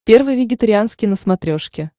первый вегетарианский на смотрешке